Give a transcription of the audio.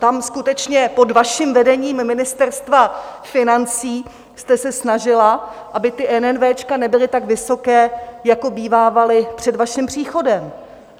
Tam skutečně pod vaším vedením Ministerstva financí jste se snažila, aby ty NNV nebyly tak vysoké, jako bývávaly před vaším příchodem.